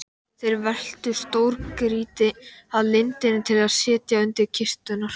Þeir veltu stórgrýti að lindinni til að setja undir kisturnar.